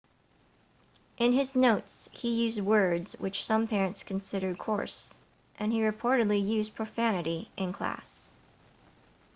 in his notes he used words which some parents considered coarse and he reportedly used profanity in class